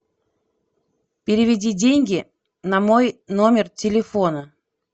переведи деньги на мой номер телефона